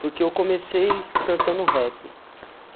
Porque eu comecei cantando rap.